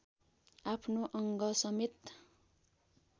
आफ्नो अङ्गसमेत